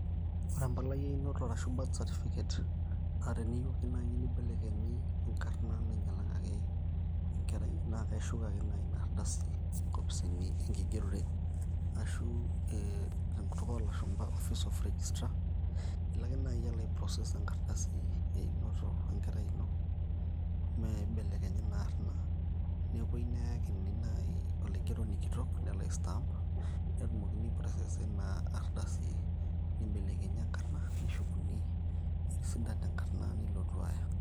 ore empalai einoto arashu birth certificate naa teniyieu ake naaji nibelekenyi enkarna nainyialakaki enkerai naa kaishuk naaji ina arrdasi inkopisini enkigerore ashu ee tenkutuk oolashumpa office of registra ilo ake naaji alo ai process enkardasi einoto enkerai ino meeibelekenyi ina arrna nepuoi neyakini naaji olaigeroni kitok nelo ai stamp netumokini ai process aa nibelekenyi etisidana enkarrna nilotu aaya.